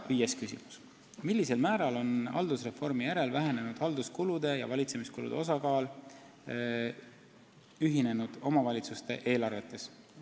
Ja viies küsimus: "Millisel määral on haldusreformi järel vähenenud halduskulude ja valitsemiskulude osakaal ühinenud omavalitsuste eelarvetes?